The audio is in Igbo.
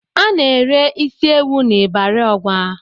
Ana-ere isi ewù n'Ịbari Ọgwa.